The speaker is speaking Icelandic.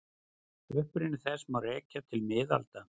Uppruna þess má rekja til miðalda.